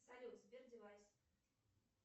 салют сбер девайс